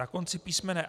Na konci písm.